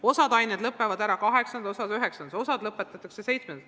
Osa aineid lõppeb 8-ndas, osa 9-ndas, osa lõpetatakse 7-ndas.